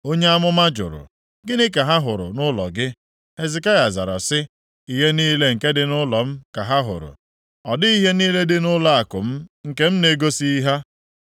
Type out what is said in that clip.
Onye amụma jụrụ, “Gịnị ka ha hụrụ nʼụlọ gị?” Hezekaya zara sị, “Ihe niile nke dị nʼụlọ m ka ha hụrụ. Ọ dịghị ihe niile dị nʼụlọakụ m nke m na-egosighị ha.”